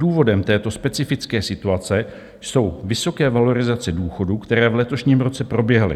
Důvodem této specifické situace jsou vysoké valorizace důchodů, které v letošním roce proběhly.